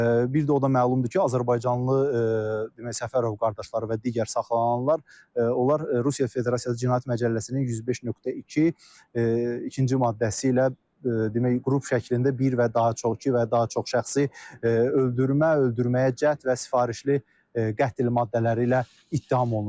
Bir də o da məlumdur ki, azərbaycanlı demək Səfərov qardaşları və digər saxlanılanlar Rusiya Federasiyası Cinayət Məcəlləsinin 105.2 ikinci maddəsi ilə demək, qrup şəklində bir və daha çox, iki və ya daha çox şəxsi öldürmə, öldürməyə cəhd və sifarişli qətl maddələri ilə ittiham olunurlar.